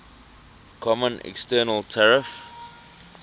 common external tariff